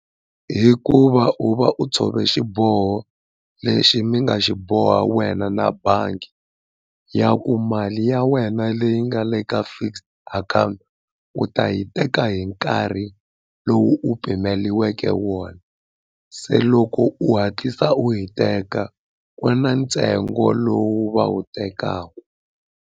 Hi ku va u va u tshove xiboho lexi mi nga xi boha wena na bangi ya ku mali ya wena leyi nga le ka fixed account u ta yi teka hi nkarhi lowu u pimiweke wona se loko u hatlisa u yi teka ko na ntsengo lowu va wu tekaka.